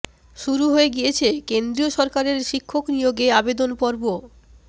শুরু হয়ে গিয়েছে কেন্দ্রীয় সরকারের শিক্ষক নিয়োগে আবেদন পর্ব